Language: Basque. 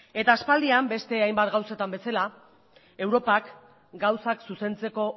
aspaldian beste hainbat gauzetan bezala europak gauzak zuzentzeko